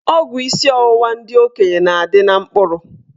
Ọgwụ isi ọwụwa ndị okenye na-adị na mkpụrụ.